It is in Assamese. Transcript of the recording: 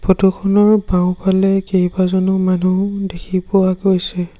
ফটো খনৰ বাওঁফালে কেইবাজনো মানুহ দেখি পোৱা গৈছে।